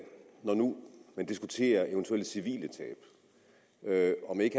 når nu man diskuterer eventuelle civile tab om ikke